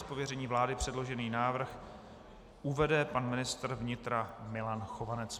Z pověření vlády předložený návrh uvede pan ministr vnitra Milan Chovanec.